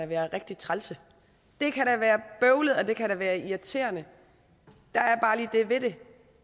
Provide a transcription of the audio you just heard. være rigtig trælse og det kan da være bøvlet og det kan være irriterende der er bare lige det ved det